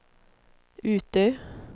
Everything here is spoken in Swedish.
Utö